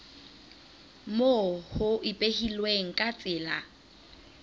moo ho ipehilweng ka tsela